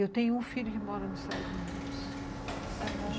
Eu tenho um filho que mora nos Estados Unidos.